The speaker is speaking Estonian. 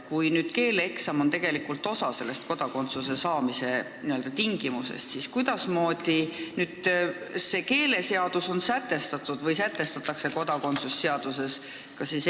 Kui keeleeksami sooritamine on tegelikult osa kodakondsuse saamise tingimustest, siis kuidasmoodi on see sätestatud keeleseaduses või kuidas sätestatakse see kodakondsuse seaduses?